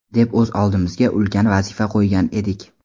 deb o‘z oldimizga ulkan vazifa qo‘ygan edik.